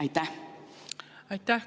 Aitäh!